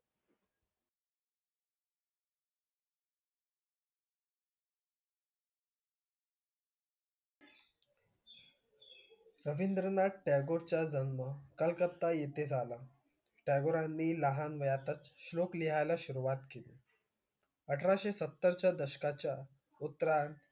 रवींद्रनाथ टागोरांचा जन्म कलकत्ता येथे झाला. टागोरांनी लहान वयातच श्लोक लिहायला सुरुवात केली. अठराशे सत्तरच्या दशकाच्या उत्तरार्ध,